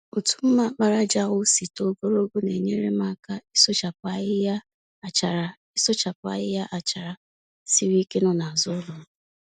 Otu mma àkpàràjà ahụ si too gologo na-enyere m aka ịsụchapụ ahịhịa àchàrà ịsụchapụ ahịhịa àchàrà siri ike nọ n'azụ ụlọm.